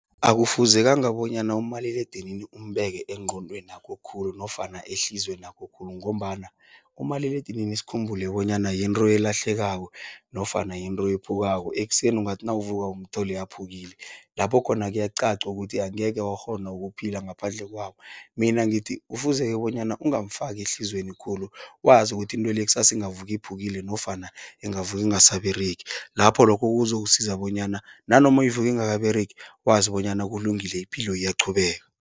Akufuzekanga bonyana umaliledini umbeke engqondwenakho khulu nofana ehliziywenakho khulu ngombana umaliledinini sikhumbule bonyana yinto elahlekako nofana yinto ephukako. Ekuseni ungathi nawuvuka umthole aphukile, lapho khona kuyacaca ukuthi angeke wakghona ukuphila ngaphandle kwawo. Mina ngithi kufuze bonyana ungamfaki ehliziyweni khulu, wazi ukuthi into le kusasa ingavuka iphukile nofana ingavuka ingasaberegi, lapho lokho kuzokusiza bonyana nanoma ivuka ingakaberegi wazi bonyana kulungile, ipilo iyaqhubeka.